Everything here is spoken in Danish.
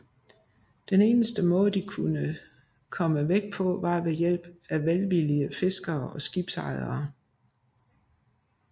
Den eneste måde de kunne komme væk på var ved hjælp af velvillige fiskere eller skibsejere